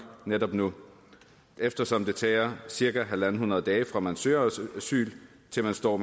netop nu eftersom det tager cirka en hundrede dage fra man søger asyl til man står